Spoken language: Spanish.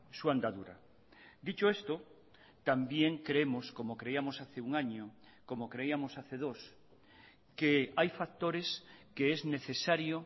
su andadura dicho esto también creemos como creíamos hace un año como creíamos hace dos que hay factores que es necesario